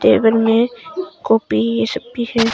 Table में copy ये सब भी है।